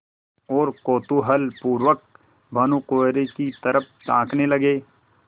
और कौतूहलपूर्वक भानुकुँवरि की तरफ ताकने लगे